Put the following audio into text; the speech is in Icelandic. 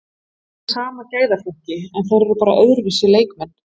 Þeir eru í sama gæðaflokki en þeir eru bara öðruvísi leikmenn,